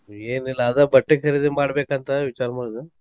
ಏನಿಲ್ಲಾ ಅದ ಬಟ್ಟಿ ಕರೀದಿ ಮಾಡ್ಬೇಕಂತ ವಿಚಾರ ಮಾಡಿದು.